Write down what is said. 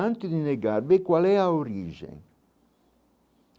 Antes de negar, vê qual é a origem.